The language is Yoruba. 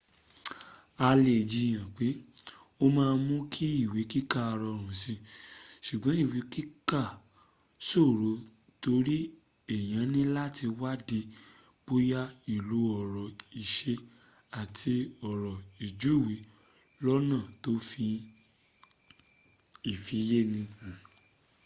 a lè jiyan pe o ma n mú kí ìwé kíkà rọrùn si ṣùgbọ́́n ìwé kika ṣòro tori èyàn níláti wadi bóyá ilo ọ̀rọ̀ ìṣe àti ọ̀rọ̀ ìjúwe lọ́́nà tó fi ifiyesi ha